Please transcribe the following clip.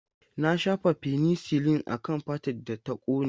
Na shafa fenisilin akan fatar da ta kone.